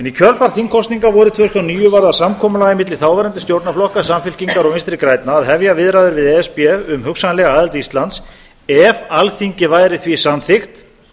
í kjölfar þingkosninga vorið tvö þúsund og níu varð að samkomulagi milli þáverandi stjórnarflokka samfylkingar og vinstri grænna að hefja viðræður við e s b um hugsanlega aðild íslands ef alþingi væri því samþykkt